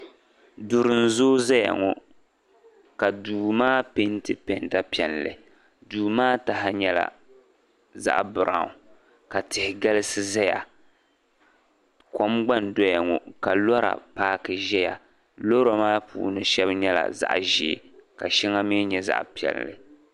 Duri n zooyi za ŋɔ ka duu maa peenti penta piɛli duu maa taha nyɛla zaɣa biranwu ka tihi galiai zaya kom gba n doya ŋɔ ka lora paaki ʒe ya loori maa puuni sheŋa nyɛla zaɣa ʒee ka shɛli mi nyɛ zaɣa piɛli